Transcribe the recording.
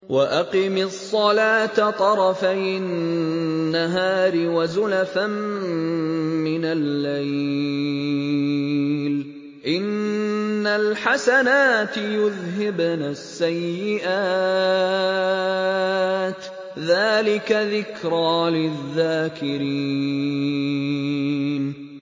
وَأَقِمِ الصَّلَاةَ طَرَفَيِ النَّهَارِ وَزُلَفًا مِّنَ اللَّيْلِ ۚ إِنَّ الْحَسَنَاتِ يُذْهِبْنَ السَّيِّئَاتِ ۚ ذَٰلِكَ ذِكْرَىٰ لِلذَّاكِرِينَ